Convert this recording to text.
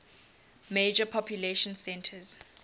major population centers